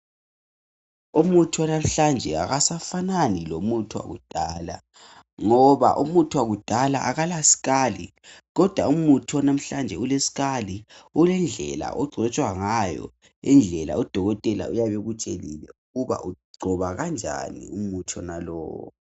Umuthi wanamhlanje akasafanani lomuthi wakudala ngoba umuthi wakudala akalaskali kodwa umuthi owanamhlanje uleskali ulendlela ogcotshwa ngayo indlela udokotela uyabekutshelile ukuba ugcoba kanjani umuthi wonalowo